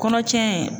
Kɔnɔ cɛn